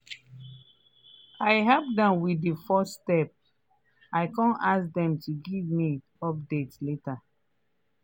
i help dem with the first steps i come ask dem to give me update later.